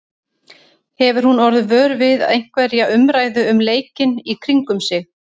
Hefur hún orðið vör við einhverja umræðu um leikinn í kringum sig?